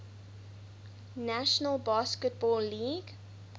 national basketball league